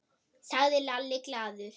sagði Lalli glaður.